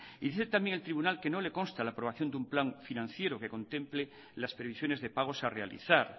y dice también el tribunal que no le consta la aprobación de un plan financiero que contemple las previsiones de pagos a realizar